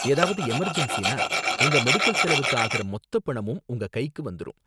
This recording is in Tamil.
ஏதாவது எமர்ஜென்ஸினா உங்க மெடிக்கல் செலவுக்கு ஆகுற மொத்த பணமும் உங்க கைக்கு வந்துரும்